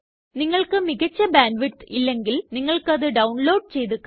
നിങ്ങള്ക്ക് മികച്ച ബാൻഡ്വിഡ്ത്ത് ഇല്ലെങ്കില് നിങ്ങള്ക്കത് ഡൌണ്ലോഡ് ചെയ്ത് കാണാം